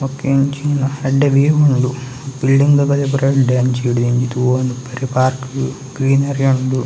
ಬೊಕ್ಕ ಎಂಚಿನ ಎಡ್ಡೆ ವಿವ್‌ ಉಂಡು ಬಿಲ್ಡಿಂಗ್‌ದ ಬದಿಯಪುರ ಎಡ್ಡೆ ಅಂಚಿಡ್‌ದ್‌ ಇಂಚೆ ತೂವೆನ ಬರೇ ಪಾರ್ಕ್‌ ಗ್ರೀನರಿ ಉಂಡು.